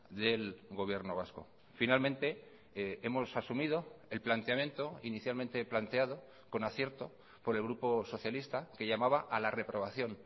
del gobierno vasco finalmente hemos asumido el planteamiento inicialmente planteado con acierto por el grupo socialista que llamaba a la reprobación